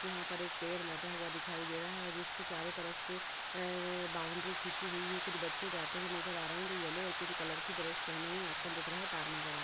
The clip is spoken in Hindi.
यहाँ पर एक पेड़ लगा हुआ दिखाई दे रहे है जिसको चारों तरफ से ए बाउंड्री खींची हुई है। कुछ बच्चे जाते हुए नजर आ रहे हैं जो येलो और पिंक कलर के ड्रेस पहने हुए आसमान दिख रहा है तार नजर आ --